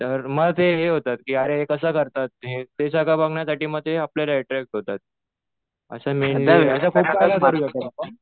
तर मग ते हे होतात कि अरे हे कसं करतात? ते सगळं बघण्यासाठी मग ते आपल्याला अट्रॅक्ट होतात.